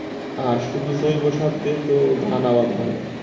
আর শুধু জৈব সার দিয়ে তো ধান আবাদ হয় না।